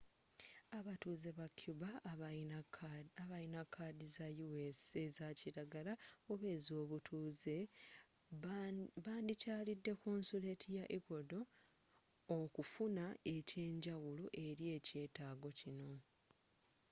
abatuuze ba cuba abalina kaadi za us eza kilagala oba ezobutuuze bandikyalidde konsoleti wa ecuador okufuna eky'enjawulo eri eky'etaago kino